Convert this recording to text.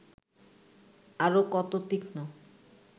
আরও কত তীক্ষ্ণ